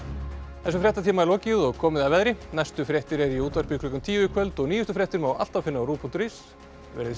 þessum fréttatíma er lokið og komið að veðri næstu fréttir eru í útvarpi klukkan tíu í kvöld og nýjustu fréttir má alltaf finna á rúv punktur is verið þið sæl